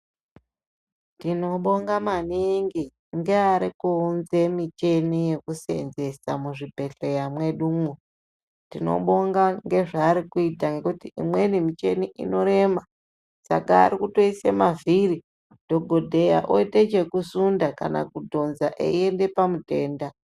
Tinobonga maningi ngeari kuunze mushini yekuseenzesa muzvibhehleya medumo. Tinobonga ngezvaari kuita ngekuti imweni michini inorema saka ari kutoisa mavhiri dhokodheya oita chekusunda kana kudhonza einda pamutenda.